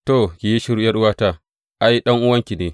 To, ki yi shiru ’yar’uwata; ai, ɗan’uwanki ne.